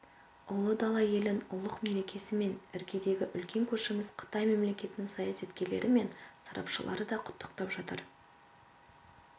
ұлы дала елін ұлық мерекесімен іргедегі үлкен көршіміз қытай мемлекетінің саясаткерлері мен сарапшылары да құттықтап жатыр